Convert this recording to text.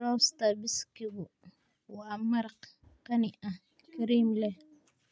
Lobster biskigu waa maraq qani ah, kareem leh.